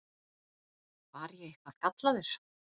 Var ég eitthvað gallaður?